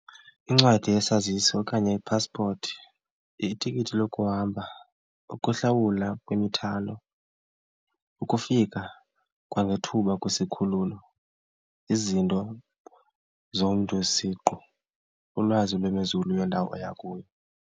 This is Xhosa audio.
Incwadi yesazisi okanye ipaspoti, itikiti lokuhamba, ukuhlawula kwemithwalo, ukufika kwangethuba kwisikhululo, izinto zomntu isiqu, ulwazi lwemozulu yendawo oya kuyo.